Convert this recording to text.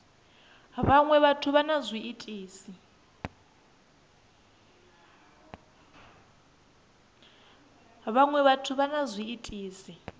vhaṅwe vhathu vha na zwiitisi